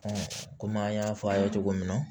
kɔmi an y'a fɔ a ye cogo min na